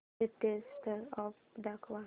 latest ad दाखव